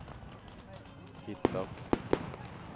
hittat